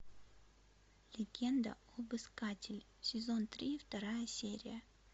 легенда об искателе сезон три вторая серия